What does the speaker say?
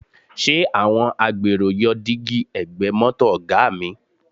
Ṣé àwọn agbèrò yọ dígí ẹ̀gbẹ́ mọ́tò Ọ̀ga mi?